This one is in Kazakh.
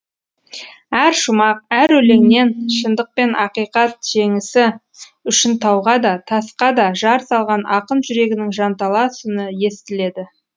әр шумақ әр өлеңнен шындық пен ақиқат жеңісі үшін тауға да тасқа да жар салған ақын жүрегінің жанталас үні естіледі